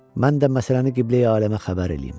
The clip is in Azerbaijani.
Mən də məsələni qibləyi aləmə xəbər eləyim.